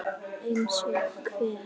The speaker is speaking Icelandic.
Eins og hver?